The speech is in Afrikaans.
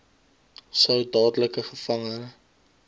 sou dadelik gevange